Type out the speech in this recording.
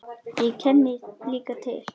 Ég kenni líka til.